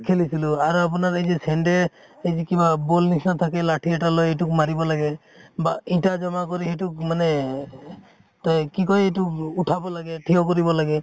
খেলিছিলো আৰু আপোনাৰ এই যে চেন্দেল এই যে কিবা ball নিছিনা থাকে লাঠি এটা লৈ ইটোক মাৰিব লাগে বা ইটা জমা কৰি সিটো মানে তৈ কি কয় এইটো উঠাব লাগে, থিঅ কৰিব লাগে